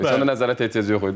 O nəzarətə ehtiyac yox idi.